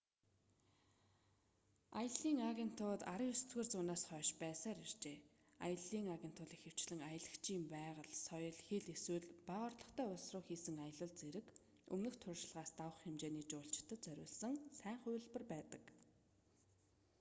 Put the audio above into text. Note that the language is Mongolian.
аяллын агентууд 19-р зуунаас хойш байсаар иржээ аяллын агент бол ихэвчлэн аялагчийн байгаль соёл хэл эсвэл бага орлоготой улс руу хийсэн аялал зэрэг өмнөх туршлагаас давах хэмжээний жуулчлалд зориулсан сайн хувилбар байдаг